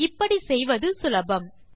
இப்படி செய்வது சுலபம்